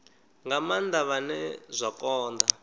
nga maanda vhane zwa konda